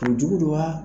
O jugu don wa